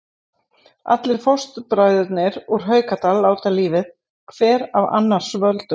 Allir fóstbræðurnir úr Haukadal láta lífið, hver af annars völdum.